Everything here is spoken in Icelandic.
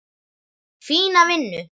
Fína vinnu.